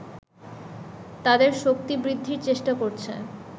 তাদের শক্তি বৃদ্ধির চেষ্টা করছে